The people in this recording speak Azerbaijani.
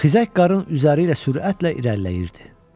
Xizək qarın üzəri ilə sürətlə irəliləyirdi.